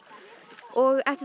og eftir